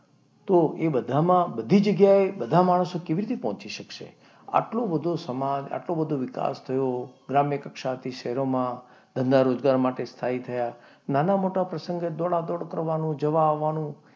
તો એ બધામાં બધી જગ્યાએ બધા માણસો કેવી રીતે પહોંચી શકે? એટલો બધો સમાજ આટલો બધો વિકાસ થયો, ગ્રામ્ય કક્ષાથી શહેરોમાં, ધંધા રોજગાર માટે સ્થાયી થયા. નાના મોટા પ્રસંગ હોય દોડાદોડ કરવાનું, જવા આવવાનું.